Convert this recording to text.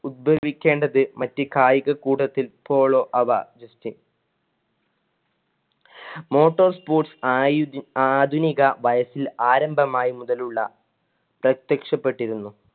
ഉത്ഭവിക്കേണ്ടത് മറ്റ് കായിക കൂടത്തിൽ പോളോ~ അവ motor sports ആയു~ ആധുനിക വയസ്സിലെ ആരംഭമായി മുതലുള്ള പ്രത്യക്ഷപ്പെട്ടിരുന്നു.